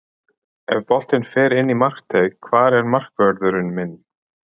Ef að boltinn fer inn í markteig, hvar er markvörðurinn minn?